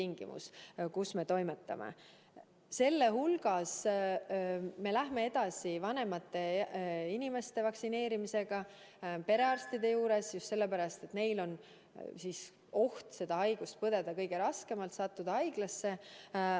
Ja sellistes tingimustes me lähme edasi vanemate inimeste vaktsineerimisega perearstide juures ja seda just sellepärast, et neil on oht seda haigust põdeda kõige raskemalt, sattuda haiglasse.